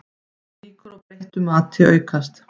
Líkur á breyttu mati aukast